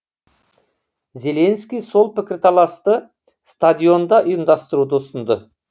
зеленский сол пікірталасты стадионда ұйымдастыруды ұсынды